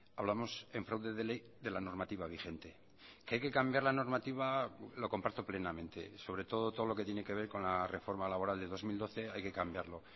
hablamos en fraude de ley de la normativa vigente que hay que cambiar la normativa lo comparto plenamente sobretodo todo lo que tiene que ver con la reforma laboral de dos mil doce hay que cambiarlo